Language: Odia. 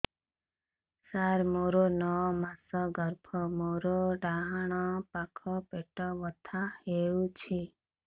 ସାର ମୋର ନଅ ମାସ ଗର୍ଭ ମୋର ଡାହାଣ ପାଖ ପେଟ ବଥା ହେଉଛି